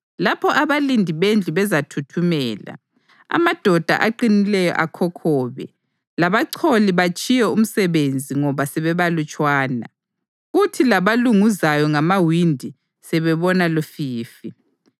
lapho abalindi bendlu bezathuthumela, amadoda aqinileyo akhokhobe, labacholi batshiye umsebenzi ngoba sebebalutshwana, kuthi labalunguzayo ngamawindi sebebona lufifi;